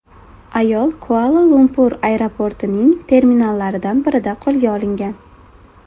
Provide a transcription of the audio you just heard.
Ayol Kuala-Lumpur aeroportining terminallaridan birida qo‘lga olingan.